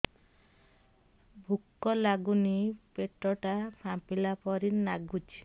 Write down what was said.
ଭୁକ ଲାଗୁନି ପେଟ ଟା ଫାମ୍ପିଲା ପରି ନାଗୁଚି